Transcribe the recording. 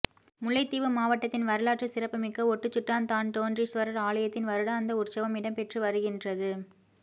முல்லைத்தீவு மாவட்டத்தின் வரலாற்று சிறப்புமிக்க ஒட்டுசுட்டான் தான்தோன்றீஸ்வரர் ஆலயத்தின் வருடாந்த உற்சவம் இடம்பெற்றுவருகின்றது